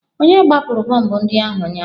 Onye gbapụrụ bọmbụ ndị ahụ ụnyaahụ?